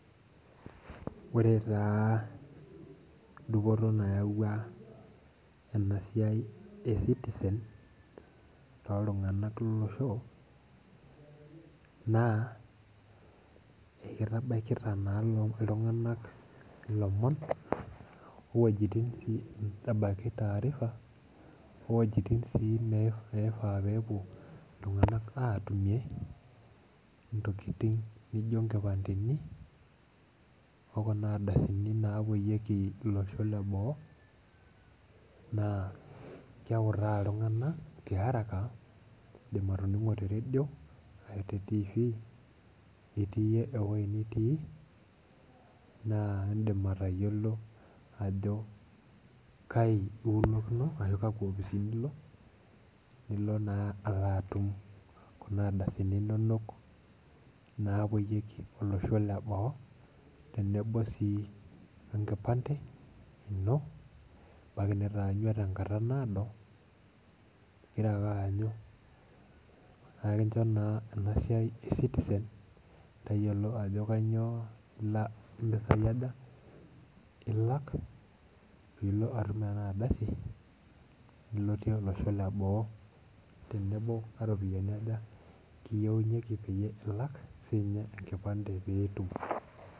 Ore taa dupoto nayawua ena siai e ecitizen too ltung'ana lolosho naa ekitabaikita naa iltung'anak ilomon owojitin sii nitabaki taarifa owojitin sii nifaa peepuo iltung'anak atumie intokiting' nijio inkipandeni okuna ardasini napoyieki iloshon leboo naa keutaa iltung'anak tiaraka indim atoning'o te radio arashi te tifi itii ewoi nitii naa indim atayiolo ajo kai iulokino ashu kakwa opisini ilo nilo naa alo atum kuna adasini inonok naapuoyieki olosho leboo tenebo sii enkipande ino ebaki nitaanyua tenkata naado ingira ake aanyu akincho naa ena siai e ecitizen tayiolo ajo kanyio ilo impisai aja ilak piilo atum ena aldasi nilotie olosho leboo tenebo karopiyiani ajakiyieunyieki peyie ilak siinye enkipande peyie itum.